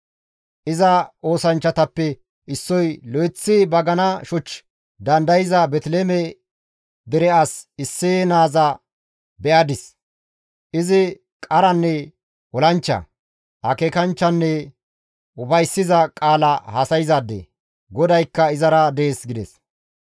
Iza oosanchchatappe issoy, «Lo7eththi bagana shoch dandayza Beeteliheeme dere as Isseye naaza be7adis; izi qaranne olanchcha, akeekanchchanne ufayssiza qaala haasayzaade; GODAYKKA izara dees» gides.